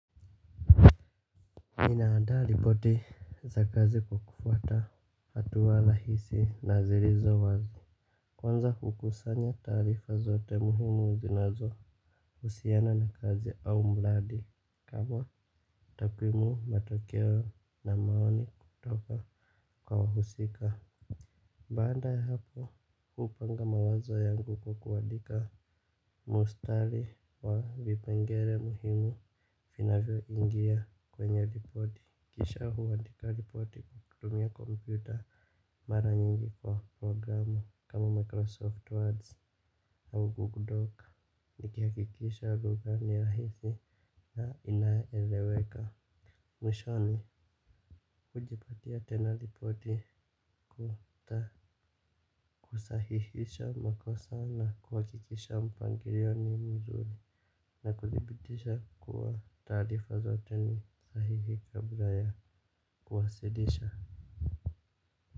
Nina adaa ripoti za kazi kufuata hatua rahisi na zilizo wazi. Kwanza hukusanya taarifa zote muhimu zinazo usiana na kazi au mradi, kama takwimu, matokeo na maoni kutoka kwa wahusika. Baada ya hapo, upanga mawazo yangu kukuandika mistari wa vipengele muhimu vinavyo ingia kwenye ripoti, kisha huandika ripoti kutumia kompyuta mara nyingi kwa programu kama Microsoft Word au Google Docs nikihakikisha lugha ni ya hisi na inaeleweka. Mwishoni kujipatia tena ripoti kuta kusahihisha makosa na kuhakikisha mpangilio ni mzuri na kuthibitisha kuwa taarifa zote ni sahihi kabla kuwasilisha.